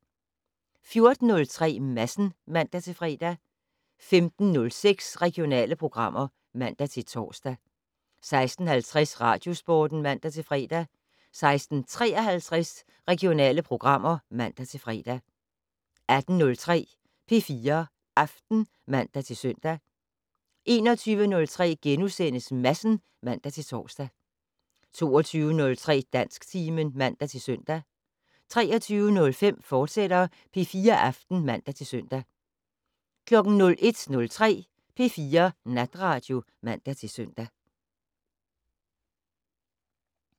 14:03: Madsen (man-fre) 15:06: Regionale programmer (man-tor) 16:50: Radiosporten (man-fre) 16:53: Regionale programmer (man-fre) 18:03: P4 Aften (man-søn) 21:03: Madsen *(man-tor) 22:03: Dansktimen (man-søn) 23:05: P4 Aften, fortsat (man-søn) 01:03: P4 Natradio (man-søn)